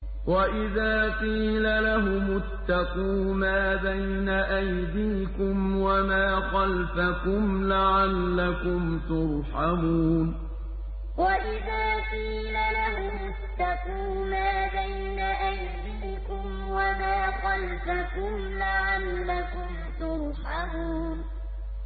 وَإِذَا قِيلَ لَهُمُ اتَّقُوا مَا بَيْنَ أَيْدِيكُمْ وَمَا خَلْفَكُمْ لَعَلَّكُمْ تُرْحَمُونَ وَإِذَا قِيلَ لَهُمُ اتَّقُوا مَا بَيْنَ أَيْدِيكُمْ وَمَا خَلْفَكُمْ لَعَلَّكُمْ تُرْحَمُونَ